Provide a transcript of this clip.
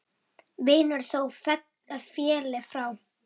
Vinur þó félli frá.